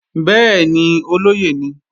Bẹ́ẹ̀ni, olóyè ni